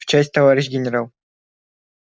в часть товарищ генерал